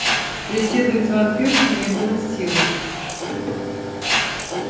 преследовать вампиршу не было сил